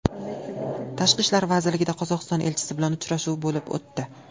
Tashqi ishlar vazirligida Qozog‘iston elchisi bilan uchrashuv bo‘lib o‘tdi.